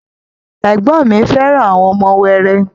Ẹ̀gbọ́n ọn mi fẹ́ràn àwọn ọmọ wẹrẹ